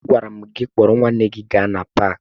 Agwara m gị kpọrọ nwanne gị gaa na paakị!